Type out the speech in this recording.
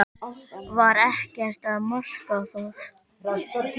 Var ekkert að marka það?